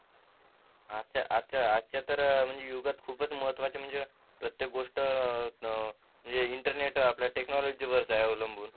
आज आजच्या तर युगात खूपच महत्त्वाच्या म्हणजे प्रत्येक गोष्ट अं इंटरनेट आपल टेक्नॉलॉजी वर अवलंबून